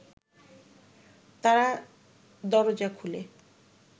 তারা দরোজা খুলে